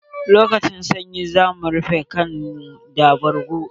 Lokacin sanyi za mu rufe kanmu da bargo.